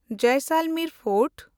Jaisalmer fort